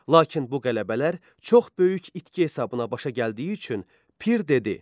Lakin bu qələbələr çox böyük itki hesabına başa gəldiyi üçün Pir dedi: